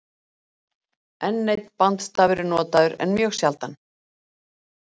enn einn bandstafur er notaður en mjög sjaldan